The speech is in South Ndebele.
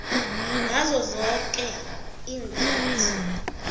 ngazo zoke iinkhathi